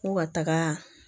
Ko ka taga